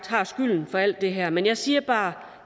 har skylden for alt det her men jeg siger bare at